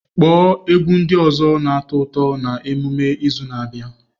Kpọọ egwu ndị ọzọ na-atọ ụtọ na emume izu na-abịa!